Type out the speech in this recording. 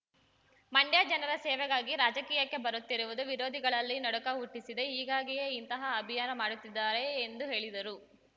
ಮ‌ಂ‌ಡ್ಯ ಜನರ ಸೇವೆಗಾಗಿ ರಾಜಕೀಯಕ್ಕೆ ಬರುತ್ತಿರುವುದು ವಿರೋಧಿಗಳಲ್ಲಿ ನಡುಕ ಹುಟ್ಟಿಸಿದೆ ಹೀಗಾಗಿಯೇ ಇಂತಹ ಅಭಿಯಾನ ಮಾಡುತ್ತಿದ್ದಾರೆ ಎಂದು ಹೇಳಿದರು